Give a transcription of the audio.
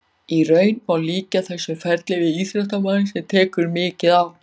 Í raun má líkja þessu ferli við íþróttamann sem tekur mikið á.